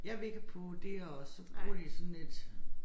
Jeg ved ikke på det her og så bruger de det sådan lidt